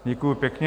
Děkuji pěkně.